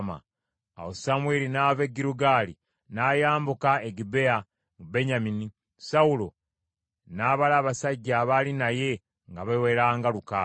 Awo Samwiri n’ava e Girugaali n’ayambuka e Gibea mu Benyamini, Sawulo n’abala abasajja abaali naye, nga baawera nga lukaaga.